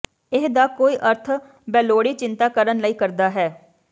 ਇਹ ਦਾ ਕੋਈ ਅਰਥ ਬੇਲੋੜੀ ਚਿੰਤਾ ਕਰਨ ਲਈ ਕਰਦਾ ਹੈ